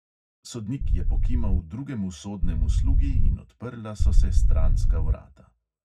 Sodnik je pokimal drugemu sodnemu slugi in odprla so se stranska vrata.